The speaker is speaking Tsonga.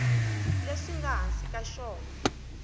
leswi nga ehansi ka xona